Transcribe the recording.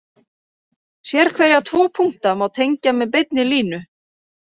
Sérhverja tvo punkta má tengja með beinni línu.